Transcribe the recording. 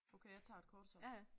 Okay jeg tager et kort så